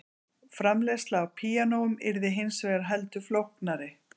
Framleiðsla á píanóum yrði hins vegar heldur flóknari.